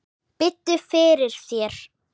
Biddu fyrir þér.